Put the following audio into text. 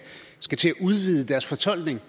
udvide deres fortolkning